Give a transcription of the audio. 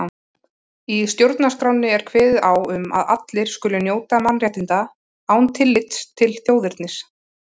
Í stjórnarskránni er kveðið á um að allir skuli njóta mannréttinda án tillits til þjóðernis.